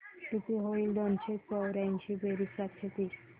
किती होईल दोनशे चौर्याऐंशी बेरीज सातशे तीस